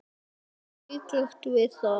Fátt siðlegt við það?